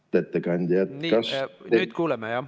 Lugupeetud ettekandja!